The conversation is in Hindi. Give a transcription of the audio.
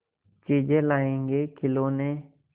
चीजें लाएँगेखिलौने